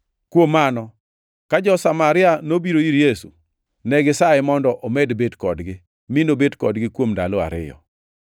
Kuom mano, ka jo-Samaria nobiro ir Yesu, negisaye mondo omed bet kodgi, mi nobet kodgi kuom ndalo ariyo.